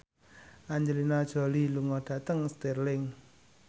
Angelina Jolie lunga dhateng Stirling